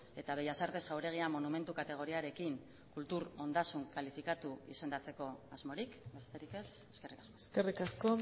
eta bellas artes jauregia monumentu kategoriarekin kultur ondasun kalifikatu izendatzeko asmorik besterik ez eskerrik asko eskerrik asko